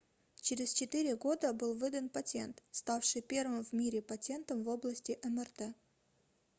через четыре года был выдан патент ставший первым в мире патентом в области мрт